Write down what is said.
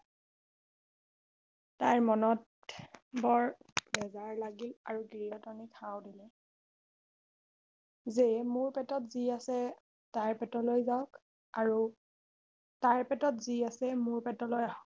তাইৰ মনত বৰ বেজাৰ লাগিল আৰু গিৰিহঁতনিক সাও দিলে যে মোৰ পেটত যি আছে তাইৰ পেটলৈ যাওক আৰু তাইৰ পেটত যি আছে মোৰ পেটলৈ আহক